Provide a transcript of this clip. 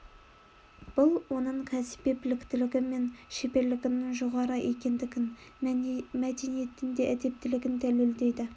бұл оның кәсіби біліктілігі мен шеберлігінің жоғары екендігін мәдениетті де әдептілігін дәлелдейді